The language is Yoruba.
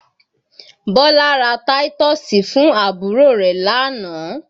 Bọ́lá ra táítọ́ọ́sì fún àbúrò rẹ̀ lánàá